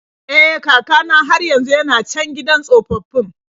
E, kaka na har yanzu yana can gidan tsofaffin.